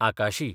आकाशी